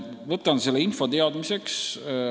Võtan selle info teadmiseks.